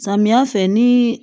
Samiya fɛ ni